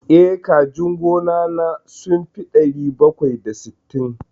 Eh, kajin gona na sun fi ɗari bakwai da sittin.